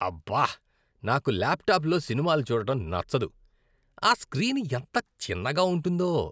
అబ్బా. నాకు ల్యాప్టాప్లో సినిమాలు చూడటం నచ్చదు. ఆ స్క్రీన్ ఎంత చిన్నగా ఉంటుందో.